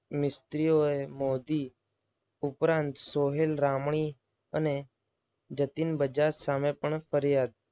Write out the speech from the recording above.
મિસ્ત્રીઓ મોદી ઉપરાંત સોહેલ રામણી અને જતીન બજાજ સામે પણ ફરિયાદ.